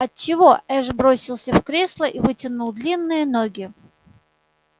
от чего эш бросился в кресло и вытянул длинные ноги